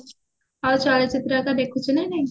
ଆଉ ଚଳଚିତ୍ର ଘରିକ ଦେଖୁଚୁ ନା ନାଇଁ